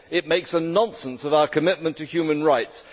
it makes a nonsense of our commitment to human rights.